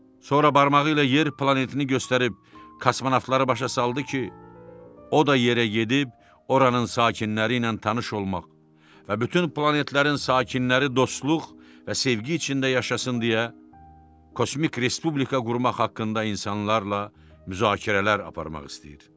Sonra barmağı ilə yer planetini göstərib kosmonavtları başa saldı ki, o da yerə gedib oranın sakinləri ilə tanış olmaq və bütün planetlərin sakinləri dostluq və sevgi içində yaşasın deyə kosmik respublika qurmaq haqqında insanlarla müzakirələr aparmaq istəyir.